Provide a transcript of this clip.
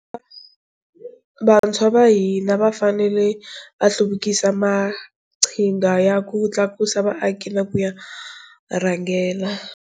Vantshwa va hina va fanele va hluvukisa maqhinga ya ku tlakusa vaaki na ku ya rhangela.